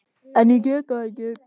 En ég get það ekki.